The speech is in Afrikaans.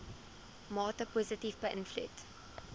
mate positief beïnvloed